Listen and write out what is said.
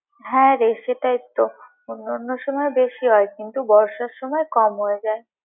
হ্যাঁ, রে সেটাই তো অন্য অন্য সময় বেশি হয় কিন্তু বর্ষার সময় কম হয়।